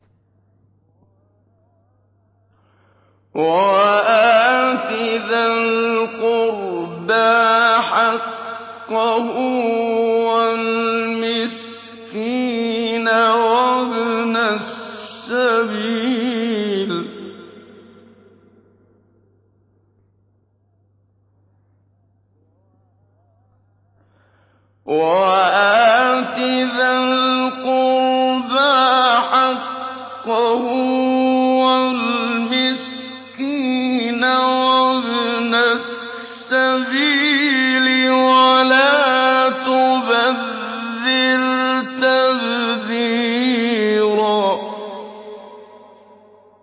وَآتِ ذَا الْقُرْبَىٰ حَقَّهُ وَالْمِسْكِينَ وَابْنَ السَّبِيلِ وَلَا تُبَذِّرْ تَبْذِيرًا